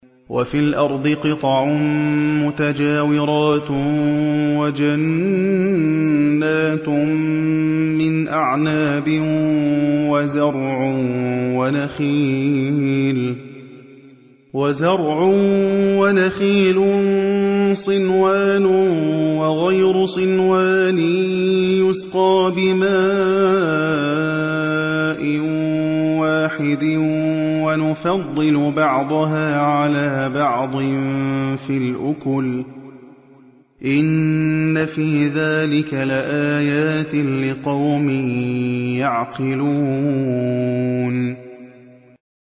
وَفِي الْأَرْضِ قِطَعٌ مُّتَجَاوِرَاتٌ وَجَنَّاتٌ مِّنْ أَعْنَابٍ وَزَرْعٌ وَنَخِيلٌ صِنْوَانٌ وَغَيْرُ صِنْوَانٍ يُسْقَىٰ بِمَاءٍ وَاحِدٍ وَنُفَضِّلُ بَعْضَهَا عَلَىٰ بَعْضٍ فِي الْأُكُلِ ۚ إِنَّ فِي ذَٰلِكَ لَآيَاتٍ لِّقَوْمٍ يَعْقِلُونَ